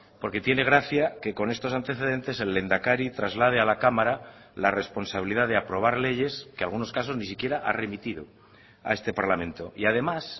porque tiene gracia que con estos antecedentes el lehendakari traslade a la cámara la responsabilidad de aprobar leyes que algunos casos ni siquiera ha remitido a este parlamento y además